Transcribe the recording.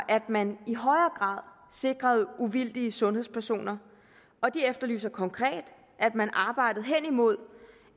at man i højere sikrede uvildige sundhedspersoner og de efterlyser konkret at man arbejdede hen imod